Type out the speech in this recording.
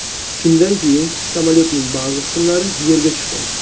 Shundan keyin samolyotning ba’zi qismlari yerga tushgan.